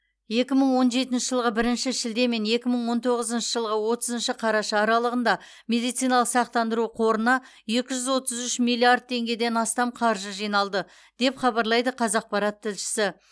екі мың он жетінші жылғы бірінші шілде мен екі мың он тоғызыншы жылғы отызыншы қараша аралығында медициналық сақтандыру қорына екі жүз отыз үш миллиард теңгеден астам қаржы жиналды деп хабарлайды қазақпарат тілшісі